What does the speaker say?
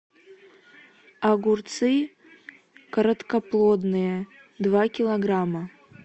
огурцы короткоплодные два килограмма